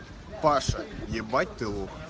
паша ебать ты лох